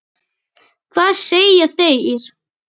Hvað segja þeir?